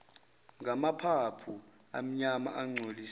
ngamaphaphu amnyama angcoliswe